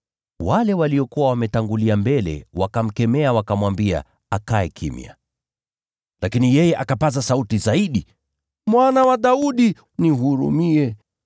Wale waliokuwa wametangulia mbele wakamkemea, wakamwambia akae kimya. Lakini yeye akapaza sauti zaidi, “Mwana wa Daudi, nihurumie!”